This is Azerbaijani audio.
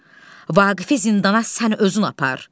Vaqifi zindana sən özün apar.